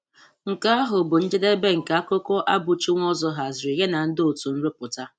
Nke ahụ bụ njèdèbé nke akụkọ Abuchi Nwozor hàzìrì ya na ndị òtù nrụpụta.